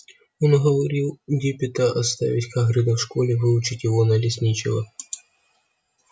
он уговорил диппета оставить хагрида в школе выучить его на лесничего